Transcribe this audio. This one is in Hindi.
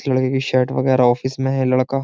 लड़के की शर्ट वगैरह ऑफिस में है लड़का --